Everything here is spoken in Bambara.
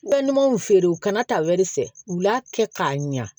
Ka ɲumanw feere u kana ta fɛ u la kɛ k'a ɲa